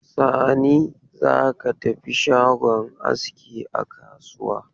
Sani, za ka tafi shagon aski a kasuwa.